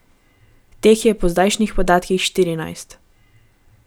Teh je po zdajšnjih podatkih štirinajst.